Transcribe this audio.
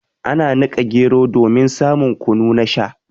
Ana nika gero domin samun kunu na Sha.